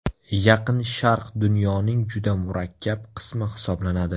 Yaqin Sharq dunyoning juda murakkab qismi hisoblanadi.